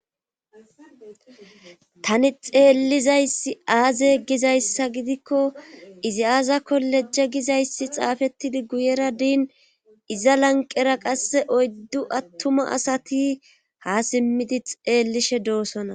tani xeellizayssi aaze gizayssa gidikko izi aazako lejje gizayssi xaafettidi guyera diin iza lanqera qasse oyddu attuma asati ha simmidi xeellishe doosona